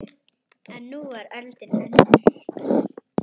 En nú var öldin önnur.